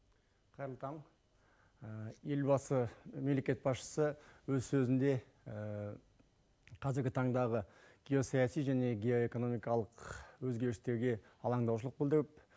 қайырлы таң елбасы мемлекет басшысы өз сөзінде қазіргі таңдағы геосаяси және геоэкономикалық өзгерістерге алаңдаушылық білдіріп